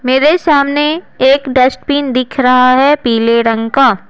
मेरे सामने एक डस्टबिन दिख रहा है पीले रंग का--